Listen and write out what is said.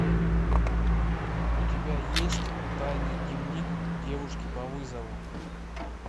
у тебя есть тайный дневник девушки по вызову